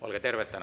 Olge terved!